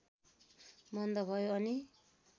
मन्द भयो अनि